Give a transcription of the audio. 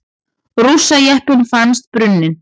Rússajeppinn fannst brunninn